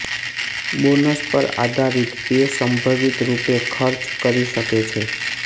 bonus પર આધારિત pay સંભવિત રૂપે ખર્ચ કરી શકે છે